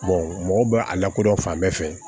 mɔgɔw bɛ a lakodɔn fan bɛɛ fɛ